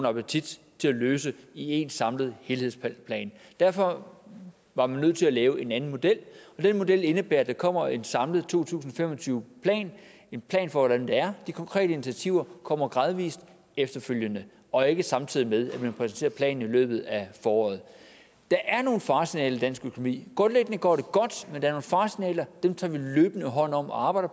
appetit til at løse det i en samlet helhedsplan derfor var man nødt til at lave en anden model den model indebærer at der kommer en samlet to tusind og fem og tyve plan en plan for hvordan det er de konkrete initiativer kommer gradvis efterfølgende og ikke samtidig med at man præsenterer planen i løbet af foråret der er nogle faresignaler i dansk økonomi grundlæggende går det godt men der er nogle faresignaler dem tager vi løbende hånd om og arbejder